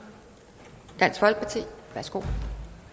dansk folkeparti værsgo